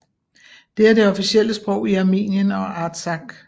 Det er det officielle sprog i Armenien og i Artsakh